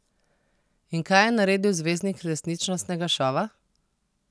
In kaj je naredil zvezdnik resničnostnega šova?